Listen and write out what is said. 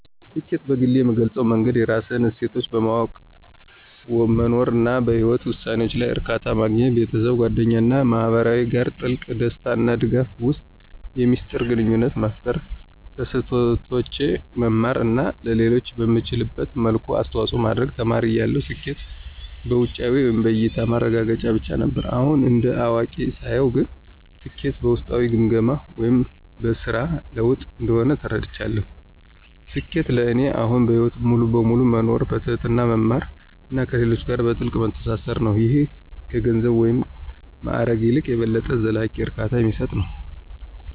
ስኬትን በግሌ የምገልፅበት መንገድ የራስህን እሴቶች በማወቅ መኖር፣ እና በህይወትህ ውሳኔዎች ላይ እርካታ ማግኘት። ቤተሰብ፣ ጓደኞች እና ማህበረሰብ ጋር ጥልቅ፣ ደስታ እና ድጋፍ የሚሰጥ ግንኙነት መፍጠር፣ ከስህተቶቼ መማር እና ለሌሎች በምትችልበት መልኩ አስተዋጽኦ ማድረግ። ተማሪ እያለሁ ስኬት በውጫዊ (በእያታ) ማረጋገጫዎች ብቻ ነበር። አሁን እንደ አዋቂ ሳየው ግን ስኬት በውስጣዊ ግምገማዎች (በስራ ለውጥ) እንደሆነ ተረድቻለሁ። ስኬት ለእኔ አሁን በህይወት ሙሉ በሙሉ መኖር፣ በትህትና መማር እና ከሌሎች ጋር በጥልቀት መተሳሰር ነው - ይህም ከገንዘብ ወይም ማዕረግ ይልቅ የበለጠ ዘላቂ እርካታ የሚሰጥ ነው።